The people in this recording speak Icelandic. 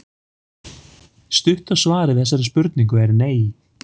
Stutta svarið við þessari spurningu er nei.